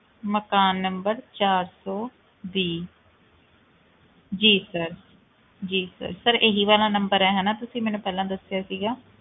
ਮਕਾਨ number ਚਾਰ ਸੌ ਵੀਹ ਜੀ sir ਜੀ sir sir ਇਹੀ ਵਾਲਾ number ਹੈ ਨਾ ਤੁਸੀਂ ਮੈਨੂੰ ਪਹਿਲਾਂ ਦੱਸਿਆ ਸੀਗਾ